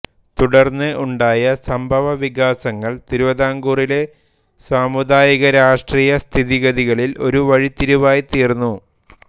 തുടർന്ന് ഉണ്ടായ സംഭവ വികാസങ്ങൾ തിരുവിതാംകൂറിലെ സാമുദായികരാഷ്ട്രീയ സ്ഥിതിഗതികളിൽ ഒരു വഴിത്തിരിവായിത്തീർന്നു